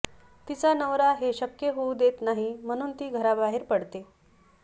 तिचा नवरा हे शक्य होऊ देत नाही म्हणून ती घराबाहेर पडते